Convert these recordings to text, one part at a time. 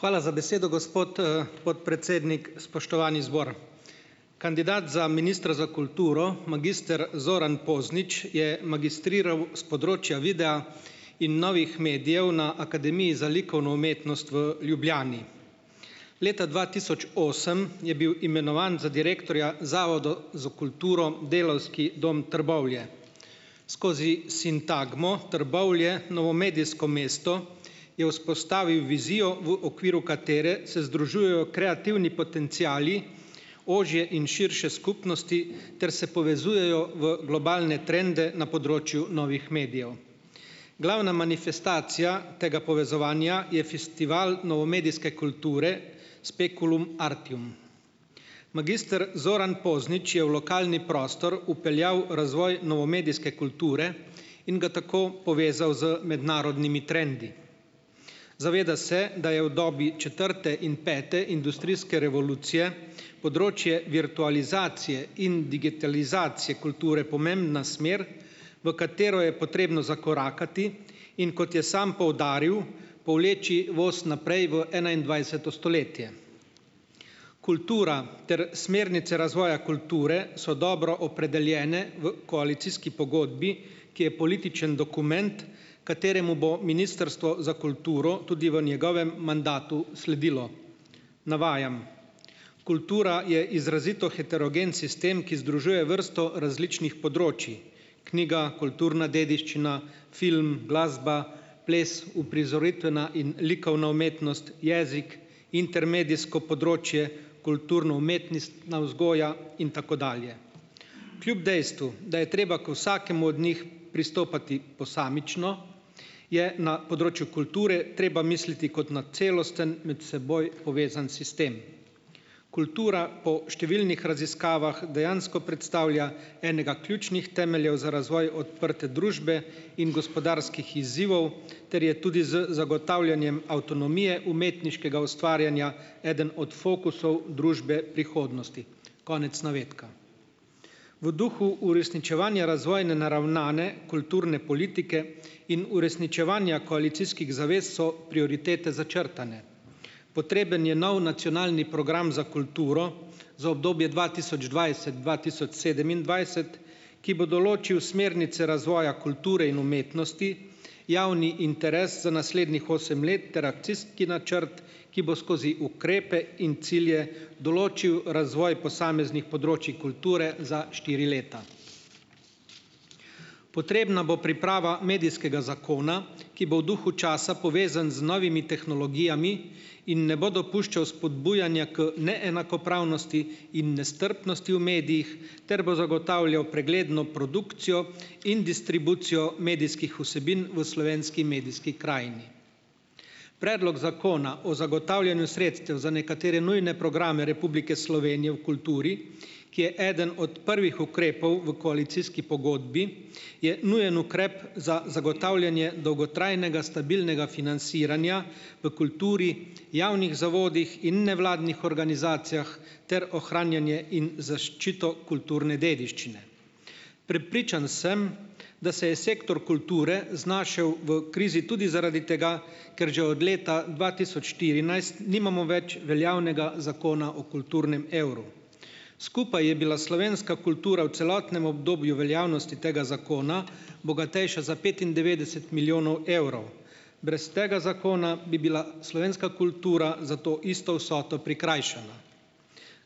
Hvala za besedo, gospod, podpredsednik. Spoštovani zbor. Kandidat za ministra za kulturo, magister Zoran Poznič, je magistriral s področja videa in novih medijev na Akademiji za likovno umetnost v Ljubljani. Leta dva tisoč osem je bil imenovan za direktorja za kulturo Delavski dom Trbovlje. Skozi sintagmo Trbovlje, Novomedijsko mesto, je vzpostavil vizijo, v okviru katere se združujejo kreativni potenciali ožje in širše skupnosti ter se povezujejo v globalne trende na področju novih medijev. Glavna manifestacija tega povezovanja je festival novomedijske kulture Speculum Artium. Magister Zoran Poznič je v lokalni prostor vpeljal razvoj novomedijske kulture in ga tako povezal z mednarodnimi trendi. Zaveda se, da je v dobi četrte in pete industrijske revolucije področje virtualizacije in digitalizacije kulture pomembna smer, v katero je potrebno zakorakati, in kot je samo poudaril, povleči vozi naprej v enaindvajseto stoletje. Kultura ter smernice razvoja kulture so dobro opredeljene v koalicijski pogodbi, ki je političen dokument, kateremu bo ministrstvo za kulturo tudi v njegovem mandatu sledilo. Navajam: "Kultura je izrazito heterogen sistem, ki združuje vrsto različnih področij, knjiga, kulturna dediščina, film, glasba, ples, uprizoritvena in likovna umetnost, jezik, intermedijsko področje, kulturno-umetnostna vzgoja in tako dalje. Kljub dejstvu, da je treba k vsakemu od njih pristopati posamično, je na področju kulture treba misliti kot na celosten med seboj povezan sistem. Kultura po številnih raziskavah dejansko predstavlja enega ključnih temeljev za razvoj odprte družbe in gospodarskih izzivov ter je tudi z zagotavljanjem avtonomije umetniškega ustvarjanja eden od fokusov družbe prihodnosti." Konec navedka. V duhu uresničevanja razvojno naravnane kulturne politike in uresničevanja koalicijskih zavez so prioritete začrtane. Potreben je nov nacionalni program za kulturo, za obdobje dva tisoč dvajset-dva tisoč sedemindvajset, ki bo določil smernice razvoja kulture in umetnosti, javni interes za naslednjih osem let ter akcijski načrt, ki bo skozi ukrepe in cilje določil razvoj posameznih področij kulture za štiri leta. Potrebna bo priprava medijskega zakona, ki bo v duhu časa povezan z novimi tehnologijami in ne bo dopuščal spodbujanja k neenakopravnosti in nestrpnosti v medijih, ter bo zagotavljal pregledno produkcijo in distribucijo medijskih vsebin v slovenski medijski krajini. Predlog Zakona o zagotavljanju sredstev za nekatere nujne programe Republike Slovenije v kulturi, ki je eden od prvih ukrepov v koalicijski pogodbi, je nujen ukrep za zagotavljanje dolgotrajnega stabilnega financiranja v kulturi, javnih zavodih in nevladnih organizacijah ter ohranjanje in zaščito kulturne dediščine. Prepričan sem, da se je sektor kulture znašel v krizi tudi zaradi tega, ker že od leta dva tisoč štirinajst nimamo več veljavnega zakona o kulturnem evru. Skupaj je bila slovenska kultura v celotnem obdobju veljavnosti tega zakona, bogatejša za petindevetdeset milijonov evrov. Brez tega zakona bi bila slovenska kultura za to isto vsoto prikrajšana.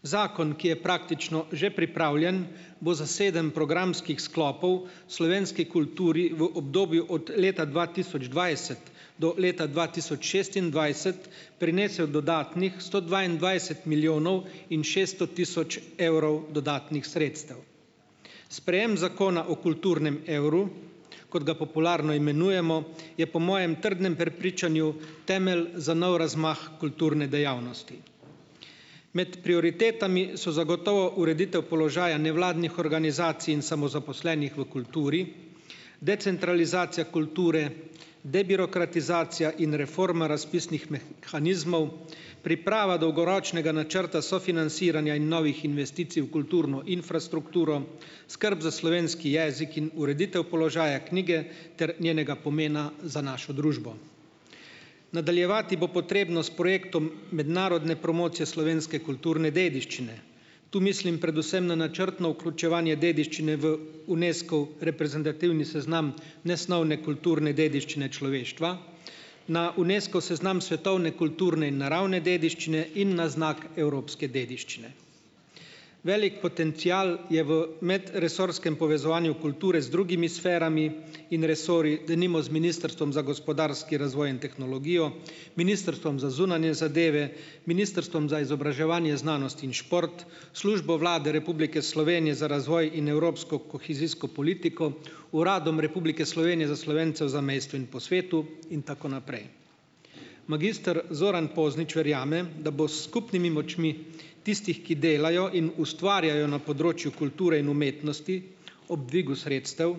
Zakon, ki je praktično že pripravljen, bo za sedem programskih sklopov slovenski kulturi v obdobju od leta dva tisoč dvajset do leta dva tisoč šestindvajset prinesel dodatnih sto dvaindvajset milijonov in šesto tisoč evrov dodatnih sredstev. Sprejem zakona o kulturnem evru, kot ga popularno imenujemo, je po mojem trdnem prepričanju temelj za nov razmah kulturne dejavnosti. Med prioritetami so zagotovo ureditev položaja nevladnih organizacij in samozaposlenih v kulturi, decentralizacija kulture, debirokratizacija in reforma razpisnih mehanizmov, priprava dolgoročnega načrta sofinanciranja in novih investicij v kulturno infrastrukturo, skrb za slovenski jezik in ureditev položaja knjige ter njenega pomena za našo družbo. Nadaljevati bo potrebno s projektom mednarodne promocije slovenske kulturne dediščine. Tu mislim predvsem na načrtno vključevanje dediščine v Unescov reprezentativni seznam nesnovne kulturne dediščine človeštva, na Unesco seznam svetovne kulturne in naravne dediščine in na znak evropske dediščine. Velik potencial je v medresorskem povezovanju kulture z drugimi sferami in resorji, denimo z ministrstvom za gospodarski razvoj in tehnologijo, ministrstvom za zunanje zadeve, ministrstvom za izobraževanje znanost in šport, Službo Vlade Republike Slovenije za razvoj in evropsko kohezijsko politiko, Uradom Republike Slovenije za Slovence v zamejstvu in po svetu in tako naprej. Magister Zoran Poznič verjame, da bo s skupnimi močmi tistih, ki delajo in ustvarjajo na področju kulture in umetnosti, ob dvigu sredstev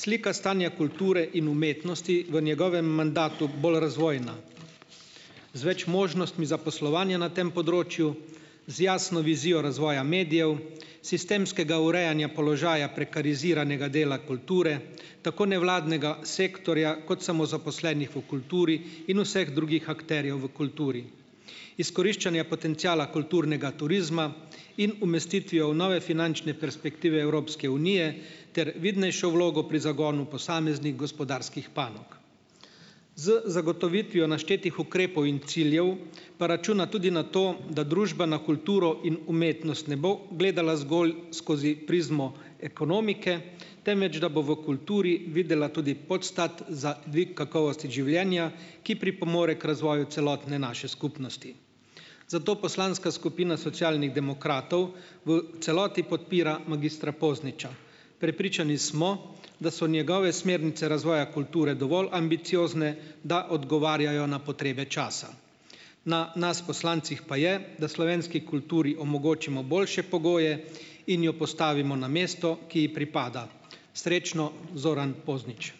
slika stanja kulture in umetnosti v njegovem mandatu bolj razvojna, z več možnostmi za poslovanje na tem področju, z jasno vizijo razvoja medijev, sistemskega urejanja položaja prekariziranega dela kulture, tako nevladnega sektorja kot samozaposlenih v kulturi in vseh drugih akterjev v kulturi, izkoriščanja potenciala kulturnega turizma in umestitvijo v nove finančne perspektive Evropske unije ter vidnejšo vlogo pri zagonu posameznih gospodarskih panog. Z zagotovitvijo naštetih ukrepov in ciljev, pa računa tudi na to, da družba na kulturo in umetnost ne bo gledala zgolj skozi prizmo ekonomike, temveč da bo v kulturi videla tudi podstat za dvig kakovosti življenja, ki pripomore k razvoju celotne naše skupnosti. Zato poslanska skupina Socialnih demokratov v celoti podpira magistra Pozniča. Prepričani smo, da so njegove smernice razvoja kulture dovolj ambiciozne, da odgovarjajo na potrebe časa. Na nas, poslancih, pa je, da slovenski kulturi omogočimo boljše pogoje in jo postavimo na mesto, ki ji pripada. Srečno, Zoran Poznič.